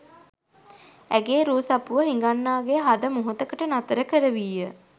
ඇගේ රූ සපුව හිඟන්නාගේ හද මොහොතකට නතර කරවීය.